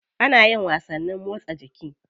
Ana yin wasanni motsa jiki.